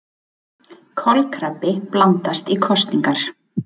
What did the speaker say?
Kolkrabbi blandast í kosningar